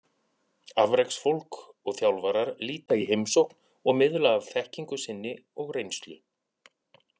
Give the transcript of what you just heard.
Afreksfólk og þjálfarar líta í heimsókn og miðla af þekkingu sinni og reynslu.